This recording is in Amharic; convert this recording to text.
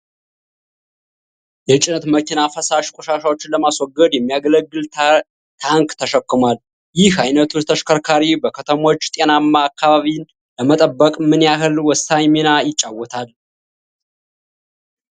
የጭነት መኪና ፈሳሽ ቆሻሻዎችን ለማስወገድ የሚያገለግል ታንክ ተሸክሟል። ይህ ዓይነቱ ተሽከርካሪ በከተሞች ጤናማ አካባቢን ለመጠበቅ ምን ያህል ወሳኝ ሚና ይጫወታል?